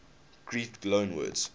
greek loanwords